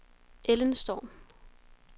Ellen Storm